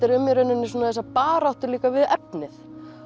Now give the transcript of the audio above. er um í rauninni þessa baráttu við efnið